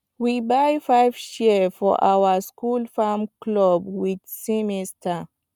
we buy five shears for our school farm club this semester